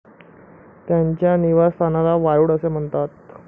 त्यांच्या निवासस्थानला वारुळ असे म्हणतात.